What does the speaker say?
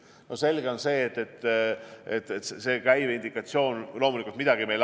No selge on see, et käive loomulikult mingi indikatsiooni meile annab.